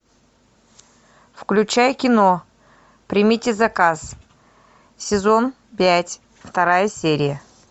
включай кино примите заказ сезон пять вторая серия